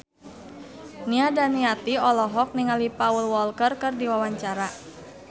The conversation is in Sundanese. Nia Daniati olohok ningali Paul Walker keur diwawancara